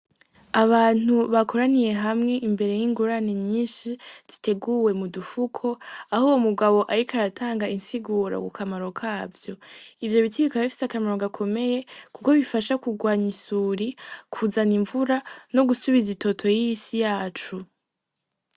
Abantu bakoraniye hamwe imbere y'ingurani nyinshi ziteguwe mu dufuko aho uwo mugabo, ariko aratanga insiguro ku kamaro kavyo ivyo biti bikaba bifise akamaro gakomeye, kuko bifasha kurwanya isuri kuzana imvura no gusubiza itoto y'isi yacu.